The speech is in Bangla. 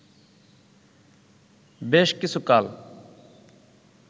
বেশ কিছুকাল